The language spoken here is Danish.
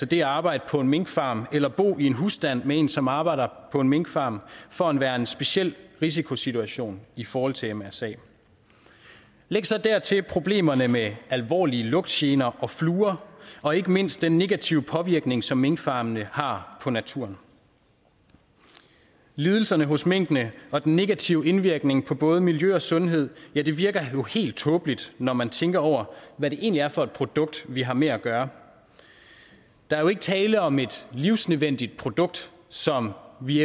det at arbejde på en minkfarm eller bo i en husstand med en som arbejder på en minkfarm for at være en speciel risikosituation i forhold til mrsa læg så dertil problemerne med alvorlige lugtgener og fluer og ikke mindst den negative påvirkning som minkfarmene har på naturen lidelserne hos minkene og den negative indvirkning på både miljø og sundhed virker jo helt tåbeligt når man tænker over hvad det egentlig er for et produkt vi har med at gøre der er jo ikke tale om et livsnødvendigt produkt som vi